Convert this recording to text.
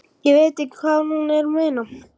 Ég veit ekki hvað hún er að meina.